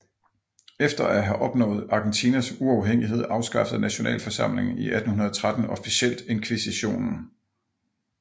Efter at have opnået Argentinas uafhængighed afskaffede nationalforsamlingen i 1813 officielt inkvisitionen